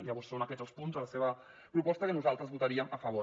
llavors són aquests els punts de la seva proposta que nosaltres hi votaríem a favor